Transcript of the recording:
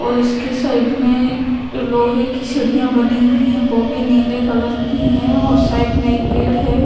और इसके साइड में लोहे की सीड़ियाँ बनी हुई है वो भी नीले कलर की है और साइड में एक पेड़ है।